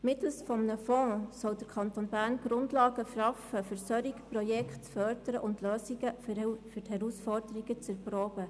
Mittels eines Fonds soll der Kanton Bern die Grundlagen schaffen, um solche Projekte zu fördern und Lösungen für die Herausforderungen zu erproben.